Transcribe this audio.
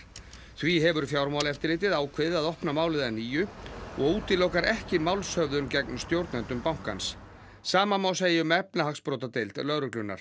því hefur Fjármálaeftirlitið ákveðið að opna málið að nýju og útilokar ekki málshöfðun gegn stjórnendum bankans sama má segja um efnahagsbrotadeild lögreglunnar